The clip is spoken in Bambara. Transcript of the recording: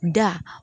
Da